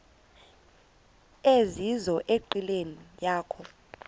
ezizizo enqileni yakho